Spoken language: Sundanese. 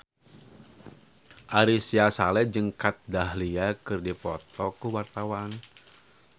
Ari Sihasale jeung Kat Dahlia keur dipoto ku wartawan